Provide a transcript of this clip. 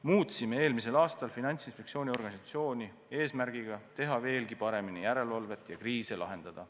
Muutsime eelmisel aastal Finantsinspektsiooni organisatsiooni, et teha veelgi paremini järelevalvet ja kriise lahendada.